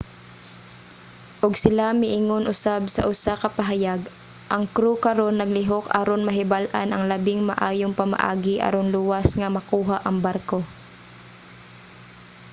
ug sila miingon usab sa usa ka pahayag ang crew karon naglihok aron mahibal-an ang labing maayong pamaagi aron luwas nga makuha ang barko